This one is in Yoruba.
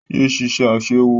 Yé ṣiṣẹ́ Aṣẹ́wó!